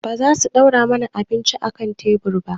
Ba za su ɗora mana abinci a kan tebur ba?